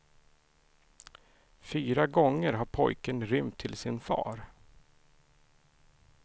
Fyra gånger har pojken rymt till sin far.